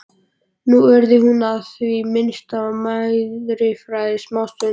Nú yrði hún í það minnsta meðfærilegri smástund.